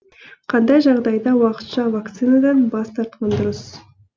қандай жағдайда уақытша вакцинадан бас тартқан дұрыс